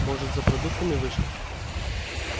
может за продуктами вышла